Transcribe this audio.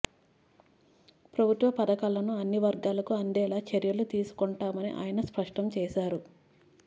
ప్రభుత్వ పథకాలను అన్నివర్గాలకు అందేలా చర్యలు తీసుకొంటామని ఆయన స్పష్టం చేశారు